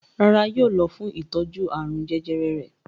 Rárá, yóò lọ fún ìtọ́jú àrùn jẹjẹrẹ rẹ̀.